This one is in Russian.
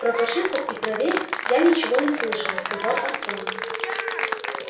про фашистов и про рейх я ничего не слышал сказал артём